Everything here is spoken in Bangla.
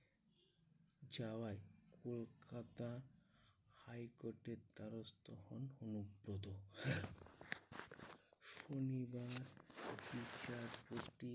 চাওয়ায় কলকাতা high court এর দ্বারস্থ হন অনুব্রত। শনিবার বিচারপতি